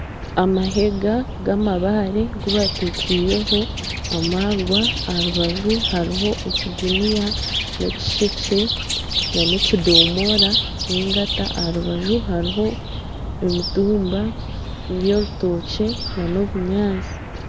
Amahega g'amabaare agu batekyeireho amaarwa aha rubaju hariho ekiguniya n'ekishekye n'ekidomoora n'engata. Aha rubaju hariho emitumba, n'orutookye n'obunyaatsi.